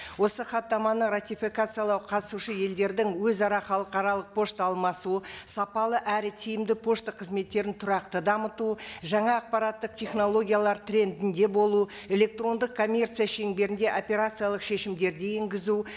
осы хаттаманы ратификациялау қатысушы елдердің өзара халықаралық пошта алмасу сапалы әрі тиімді пошта қызметтерін тұрақты дамыту жаңа ақпараттық технологиялар трендінде болу электрондық коммерция шеңберінде операциялық шешімдерді енгізу